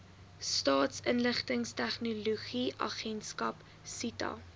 staatsinligtingstegnologie agentskap sita